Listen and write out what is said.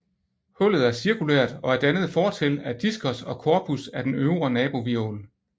Hullet er cirkulært og er dannet fortil af diskus og corpus af den øvre nabohvirvel